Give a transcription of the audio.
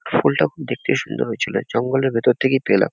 ফুলটা খুব দেখতে সুন্দর হয়েছিল। জঙ্গলের ভেতর থেকেই পেলাম।